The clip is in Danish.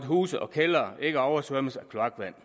huse og kældre ikke oversvømmes af kloakvand